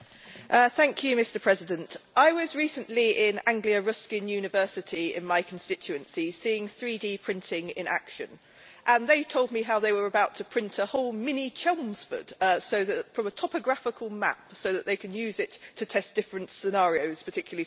Mr President, I was recently in Anglia Ruskin University in my constituency seeing 3D printing in action, and they told me how they were about to print a whole mini Chelmsford from a topographical map so that they can use it to test different scenarios particularly for flooding.